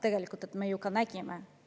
Tegelikult me ju nägime seda.